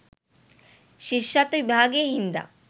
ශිෂ්‍යත්ව විභාගය හින්දා.